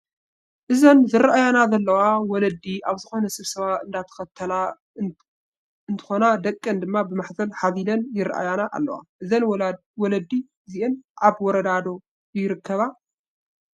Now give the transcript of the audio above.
እዘን ዝራኣያና ዘለዋ ወለዲ ኣብ ዝኮነ ሰብሰባ እንዳተከታተላ እትኮና ደቀን ድማ ብማሕዘል ሓዚለን ይረአያና ኣለዋ። እዘን ወለዲ እዚአን ኣበይ ወረዳ ኮን ይርከባ?